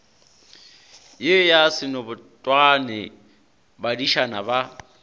ye ya senobotwane badišana ba